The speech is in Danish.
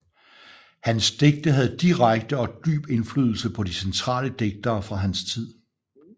Hans digte havde direkte og dyb indflydelse på de centrale digtere fra hans tid